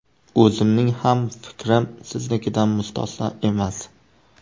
O‘zimning ham fikrim siznikidan mustasno emas.